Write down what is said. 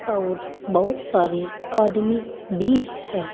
और बहुत सारे आदमी भी हैं।